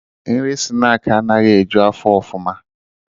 Nri snaakị anaghị eju afọ ọfụma